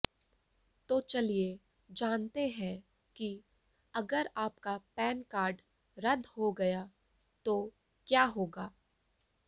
तो चलिए जानते हैं कि अगर आपका पैन कार्ड रद्द हो गया तो क्या होगा